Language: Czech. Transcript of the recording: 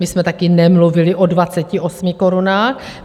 My jsme také nemluvili o 28 korunách.